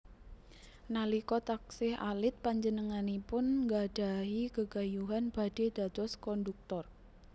Nalika taksih alit panjenenganipun nggadhahi gegayuhan badhé dados kondhuktor